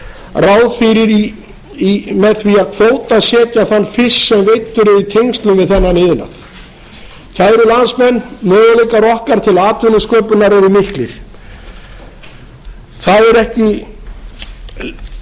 ráð fyrir með því að kvótasetja þann fisk sem veiddur er í tengslum við þennan iðnað kæru landsmenn möguleikar okkar til